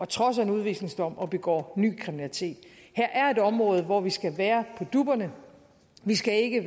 trods af en udvisningsdom og begår ny kriminalitet her er et område hvor vi skal være på dupperne vi skal ikke